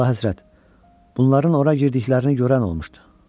Əlahəzrət, bunların ora girdiklərini görən olmuşdu.